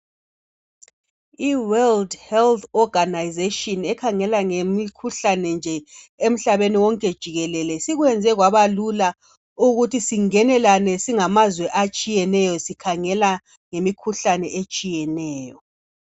I"world health organisation " ekhangela ngemikhuhlane nje emhlabeni wonke jikelele sikwenze kwabalula ukuthi singenelane singamazwe atshiyeneyo sikhangela ngemikhuhlane etshiyeneyo.